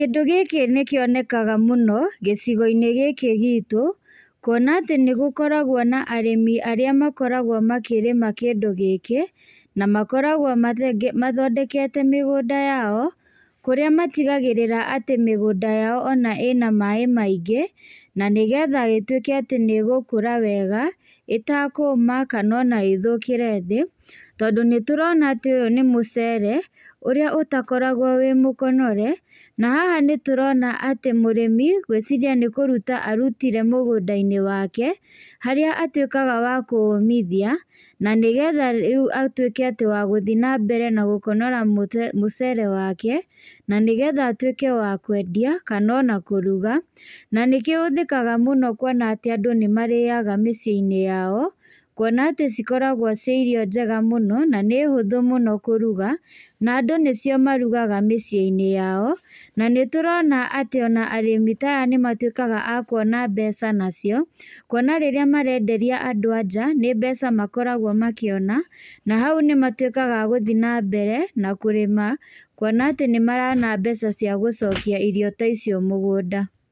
Kĩndũ gĩkĩ nĩkĩonekaga mũno gĩcigo-nĩ gĩkĩ gitũ, kuona atĩ nĩgũkoragwo na arĩmi arĩa makoragwo makĩrĩma kĩndũ gĩkĩ, na makoragwo mathe mathondekete mĩgũnda yao, kũrĩa matigagĩrĩra atĩ mĩgũnda yao ona ĩna maĩ maingĩ nanĩgetha ĩtwĩke atĩ nĩĩgũkũra wega ĩtakũma kanona ĩthũkĩre thĩ, tondũ nĩtũrona atĩ ũyũ nĩ mũcere, ũrĩa ũtakoragwo wĩ mũkonyore, na haha nĩtũrona atĩ mũrĩmi, ngwĩciria atĩ nĩkũruta arutire mũgũnda-inĩ wake, harĩa atwĩkaga wa kũũmithia, nanĩgetha rĩu atwĩke tĩ wa gũthiĩ nambere na gũkonyora mũtĩ mũcere wake, nanĩgetha atwĩke wa kwendia, kanona kũruga, nanĩkĩo ũhũthĩkaga mũno kuona atĩ andũ nĩmarĩaga mĩciĩ-inĩ yao, kuona atĩ cikoragwo ciĩ irio njega mũno, nanĩhũthũ mũno kũruga, na andũ nĩcio marugaga mĩciĩ-inĩ yao, nanĩtũrona atĩ ona arĩmi ta aya nĩmatwĩkaga a kuona mbeca nacio, kuona rĩrĩa marenderia andũ a njaa, hau nĩ mbeca makoragwo makĩona, na hau nĩmatwĩkaga a gũthiĩ nambere, na kũrĩma, kuona atĩ nĩmarona mbeca cia gũcokia irio ta icio mũgũnda.